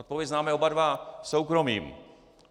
Odpověď známe oba dva: soukromým!